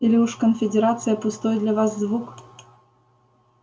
или уж конфедерация пустой для вас звук